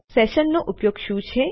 તો સેશન્સનો ઉપયોગ શું છે